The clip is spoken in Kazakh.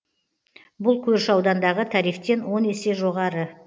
бұл көрші аудандағы тарифтен он есе жоғары